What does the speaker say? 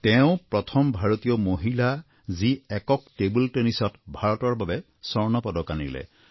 তেওঁ প্ৰথম ভাৰতীয় মহিলা যি একক টেবুল টেনিছত ভাৰতৰ বাবে স্বৰ্ণ পদক আনিলে